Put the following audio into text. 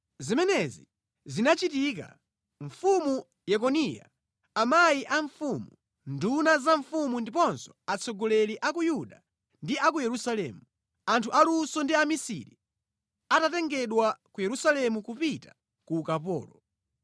Zimenezi zinachitika mfumu Yekoniya, amayi a mfumu, nduna za mfumu ndiponso atsogoleri a ku Yuda ndi a ku Yerusalemu, anthu aluso ndi amisiri atatengedwa ku Yerusalemu kupita ku ukapolo.